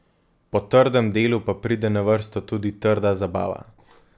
Po trdem delu pa pride na vrsto tudi trda zabava.